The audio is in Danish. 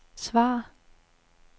svar